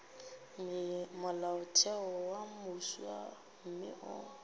molaotheo wo mofsa mme o